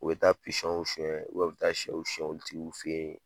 U be taa pisɔnw suɲɛ u bɛ u be taa sɛw suɲɛ u tigiw fe ye